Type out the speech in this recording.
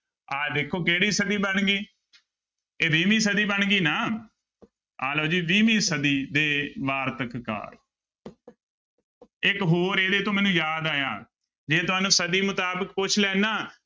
ਆਹ ਦੇਖੋ ਕਿਹੜੀ ਸਦੀ ਬਣ ਗਈ, ਇਹ ਵੀਹਵੀਂ ਸਦੀ ਬਣ ਗਈ ਨਾ ਆਹ ਲਓ ਜੀ ਵੀਹਵੀਂ ਸਦੀ ਦੇ ਵਾਰਤਕ ਕਾਰ ਇੱਕ ਹੋਰ ਇਹਦੇ ਤੋਂ ਮੈਨੂੰ ਯਾਦ ਆਇਆ, ਜੇ ਤੁਹਾਨੂੰ ਸਦੀ ਮੁਤਾਬਿਕ ਪੁੱਛ ਲੈਣ ਨਾ।